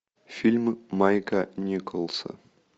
фильмы майка николса